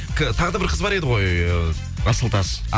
тағыда да бір қыз бар ғой э асылтас